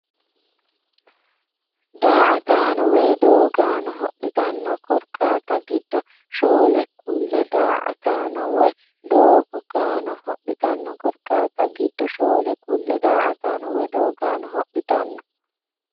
Daa”ataano woy doogaano hodhitanno korkaatta giddo shoole kulle Daa”ataano woy doogaano hodhitanno korkaatta giddo shoole kulle Daa”ataano woy doogaano hodhitanno.